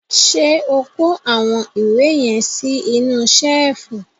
Ṣé o kó àwọn ìwé yẹn sí inú ṣẹ́ẹ́fù?